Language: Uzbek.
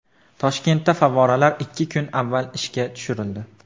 Toshkentda favvoralar ikki kun avval ishga tushirildi.